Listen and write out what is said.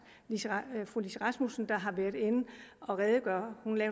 lissi rasmussen har været inde at redegøre